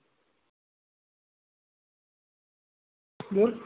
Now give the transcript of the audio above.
बोल